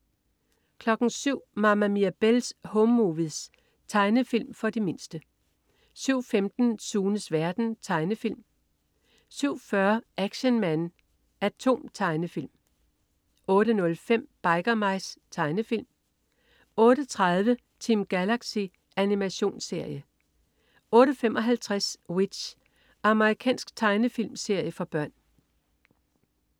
07.00 Mama Mirabelle's Home Movies. Tegnefilm for de mindste 07.15 Sunes verden. Tegnefilm 07.40 Action Man A.T.O.M. Tegnefilm 08.05 Biker Mice. Tegnefilm 08.30 Team Galaxy. Animationsserie 08.55 W.i.t.c.h. Amerikansk tegnefilmserie for børn